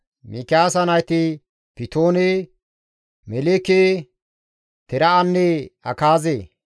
Mikiyaasa nayti Pitoone, Meleeke, Tere7anne Akaaze.